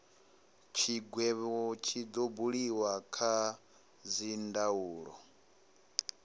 tshigwevho tshi do buliwa kha dzindaulo